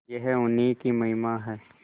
यह उन्हीं की महिमा है